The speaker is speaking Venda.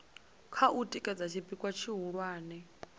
kha u tikedza tshipikwa tshihulwane